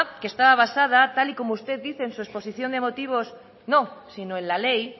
que estaba basada tal y como usted dice en su exposición de motivos no sino en la ley